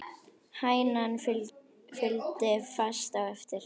Hænan fylgdi fast á eftir.